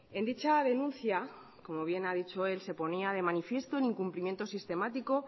en dicha denuncia como bien ha dicho él se ponía de manifiesto el incumplimiento sistemático